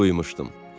Duymuşdum.